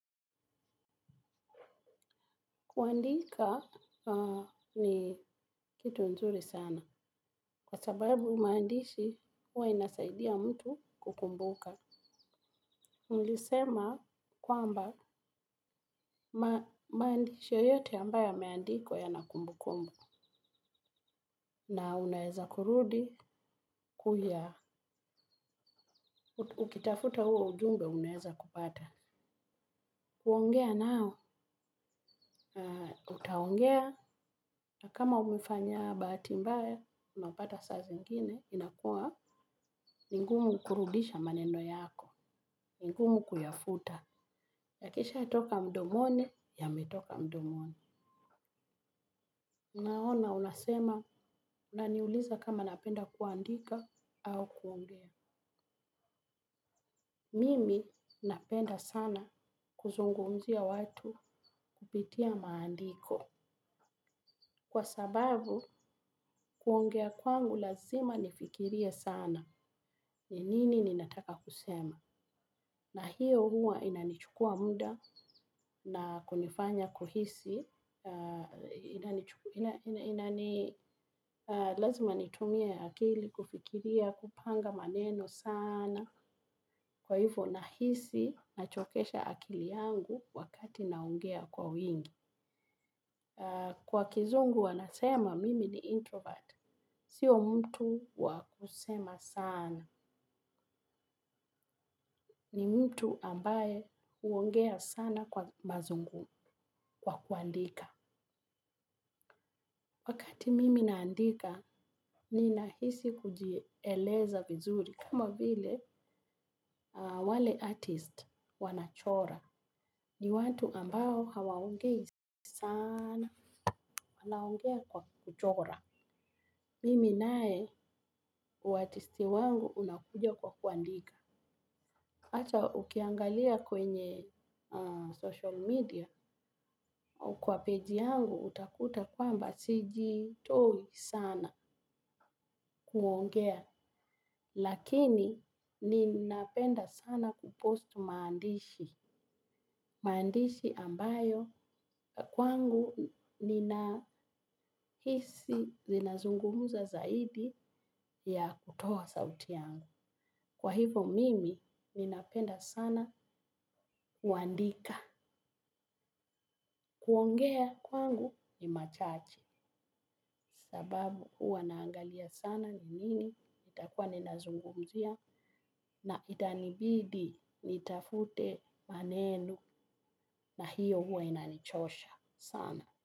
Kuandika ni kitu nzuri sana. Kwa sababu maandishi huwa inasaidia mtu kukumbuka. Nilisema kwamba, maandishi yoyote ambayo yameandikwa yana kumbukumbu. Na unaeza kurudi ku ya ukitafuta huo ujumbe unaeza kupata. Kuongea nao, utaongea na kama umefanya bahati mbaya, unapata saa zingine, inakua ni ngumu kurudisha maneno yako. Ni ngumu kuyafuta. Yakishaatoka mdomoni, yametoka mdomoni. Unaona unasema, unaniuliza kama napenda kuandika au kuongea? Mimi, napenda sana, kuzungumzia watu kupitia maandiko. Kwa sababu, kuongea kwangu lazima nifikirie sana. Ni nini ninataka kusema? Na hiyo huwa inanichukua muda na kunifanya kuhisi, Inani Lazima nitumie akili kufikiria, kupanga maneno saana. Kwa hivo, nahisi nachokesha akili yangu wakati naongea kwa wingi. Kwa kizungu wanasema mimi ni 'introvert'. Sio mtu wa kusema sana. Ni mtu ambaye huongea sana kwa kuandika. Wakati mimi naandika, ninahisi kujieleza vizuri, kama vile, wale 'artist' wanachora. Ni watu ambao hawaongei saana, wanaongea kwa kuchora. Mimi naye, uatisti wangu unakuja kwa kuandika. Hata ukiangalia kwenye 'social media'. Kwa 'page' yangu, utakuta kwamba sijitoi saana, kuongea. Lakini ninapenda sana 'kupost' maandishi. Maandishi ambayo kwangu ninahisi zinazungumuza zaidi ya kutoa sauti yangu. Kwa hivo mimi ninapenda sana kuandika. Kuongea kwangu ni machache. Sababu huwa naangalia sana ni nini, nitakuwa ninazungumzia? Na itanibidi nitafute maneno, na hio huwa inanichosha sana.